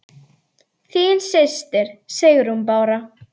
Þín systir, Sigrún Bára.